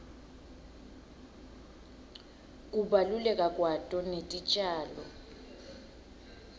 kubaluleka kwato netitjalo